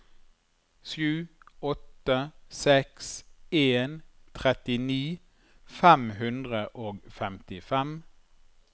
sju åtte seks en trettini fem hundre og femtifem